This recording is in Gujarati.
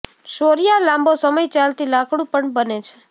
શોરિયા લાંબો સમય ચાલતી લાકડું પણ બને છે